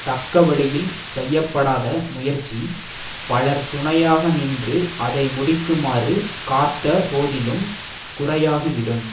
தக்கவழியில் செய்ய படாத முயற்சி பலர் துணையாக நின்று அதை முடிக்குமாறு காத்த போதிலும் குறையாகிவிடும்